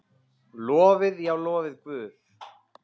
Lofið, já, lofið Guð.